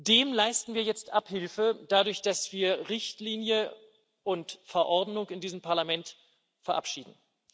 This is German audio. Dem leisten wir jetzt Abhilfe dadurch, dass wir Richtlinie und Verordnung in diesem Parlament verabschieden.